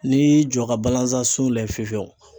N'i y'i jɔ ka balanzan sun lajɛ fiyefiyewu